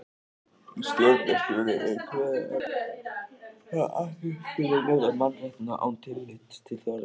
Í stjórnarskránni er kveðið á um að allir skuli njóta mannréttinda án tillits til þjóðernis.